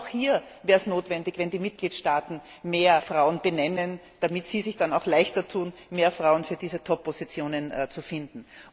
Aber auch hier wäre es notwendig, wenn die Mitgliedstaaten mehr Frauen benennen, damit Sie sich dann auch leichter tun, mehr Frauen für diese Toppositionen zu finden.